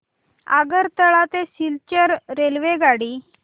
आगरतळा ते सिलचर रेल्वेगाडी